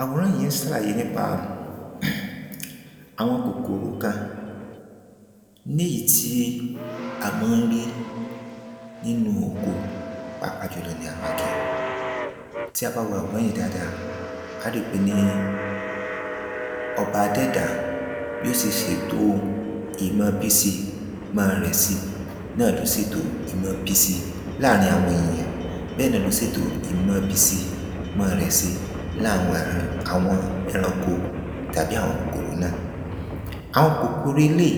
àwòrán yìí ń sàlàyé nípa àwọn kòkòrò kan néyìí tí a mọ́ ń rí nínú oko pàápàá jùlọ ní ara igi tí a bá wo àwòrán yìí dáadáa á ri pé ni ọba adẹ́ẹ̀dá bí ó se sèto ìmọọbísíi ìmọ́ọrẹ̀si náà ló sètò ìmọọbísíi láàrin àwọn èèyàn bẹ́ẹ̀ náà ló sètò ìmọọbísíi ìmọ́ọrẹ̀si láàwọn àran àwọn ẹranko tàbí àwọn4 kòkòrò náà àwọn kòkòrò eléìí